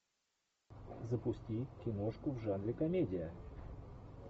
запусти киношку в жанре комедия